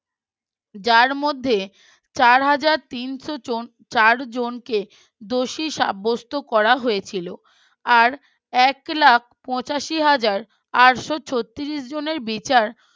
যার মধ্যে চার হাজার তিনশ চার জনকে দোষী সাব্যস্ত করা হয়েছিল আর এক লাখ পঁচাশি হাজার আটশ ছত্রিশ জনের বিচার